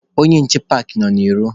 Onye nche paakị nọ n'ilo.